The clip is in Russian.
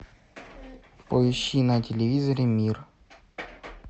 поищи на телевизоре мир